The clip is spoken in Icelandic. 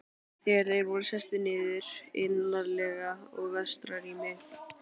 Þegar þeir voru sestir niður, innarlega í vestara rými